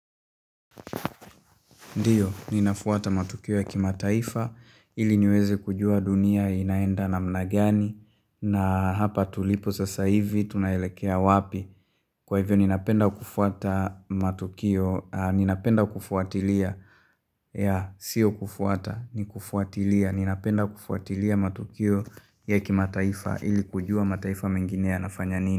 Ndiyo, ninafuata matukio ya kimataifa, ili niweze kujua dunia inaenda namna gani, na hapa tulipo sasa hivi, tunaelekea wapi. Kwa hivyo ninapenda kufuata matukio, ninapenda kufuatilia, ya, sio kufuata, ni kufuatilia. Ninapenda kufuatilia matukio ya kimataifa, ili kujua mataifa mengine yanafanya nini.